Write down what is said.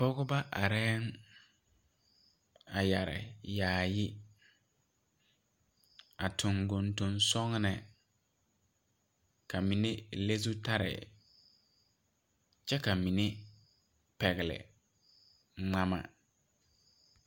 Pɔgebɔ areɛɛŋ yɛre yaayi a tuŋ gondoŋ sɔgne ka mine le zutarre kyɛ ka mine pɛgle ngmama.